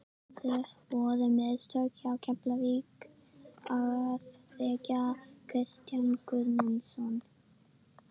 Voru mistök hjá Keflavík að reka Kristján Guðmundsson?